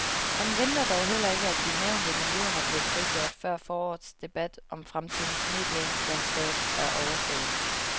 Han venter dog heller ikke, at de nævnte millioner bliver frigjort før forårets debat om fremtidens medielandskab er overstået.